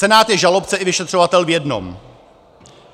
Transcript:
Senát je žalobce i vyšetřovatel v jednom.